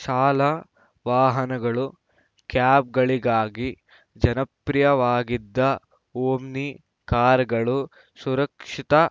ಶಾಲಾ ವಾಹನಗಳು ಕ್ಯಾಬ್‌ಗಳಿಗಾಗಿ ಜನಪ್ರಿಯವಾಗಿದ್ದ ಓಮ್ನಿ ಕಾರುಗಳು ಸುರಕ್ಷಿತಾ